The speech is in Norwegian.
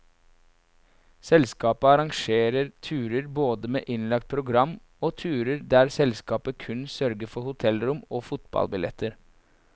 Selskapet arrangerer turer både med innlagt program, og turer der selskapet kun sørger for hotellrom og fotballbilletter.